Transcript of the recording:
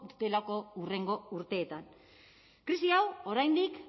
dutelako hurrengo urteetan krisi hau oraindik